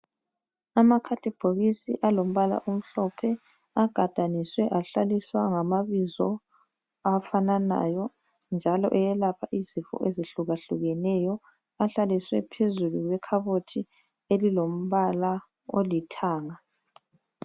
Amakhadibhokisi alombala omhlophe agadaniswe ahlaliswa ngamabizo afananayo njalo eyelapha izifo ezehlukahlukeneyo. Ahlaliswe phezulu kwekhabothi elilombala olithanga.